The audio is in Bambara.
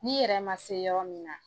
Ni yɛrɛ ma se yɔrɔ min na